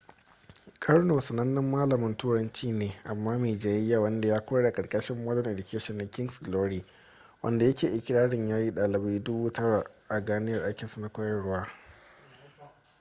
karno sanannen malamin turanci ne amma mai jayayya wadda ya koyar a karkashin modern education da king’s glory wadda yake ikirarin ya yi dalibai dubu tara 9,000 a ganiyar aikinsa na koyarwa